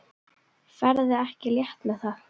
Ferðu ekki létt með það?